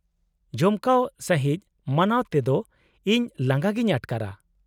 -ᱡᱚᱢᱠᱟᱣ ᱥᱟᱺᱦᱤᱡ ᱢᱟᱱᱟᱣ ᱛᱮᱫᱚ ᱤᱧ ᱞᱟᱸᱜᱟ ᱜᱤᱧ ᱟᱴᱠᱟᱨᱟ ᱾